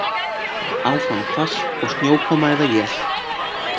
Áfram hvasst og snjókoma eða él